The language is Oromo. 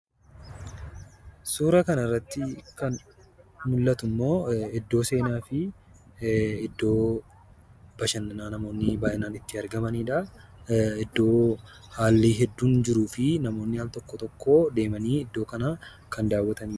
Suuraa kana irratti immoo kan mul'atu iddoo seenaafi iddoo bashananaa naamooni baay'inaan itti argamaniidha. Iddoo haali hedduun jiruufi namoonni al tokko tokkoo deemani iddoo kana kan daawwatanidha.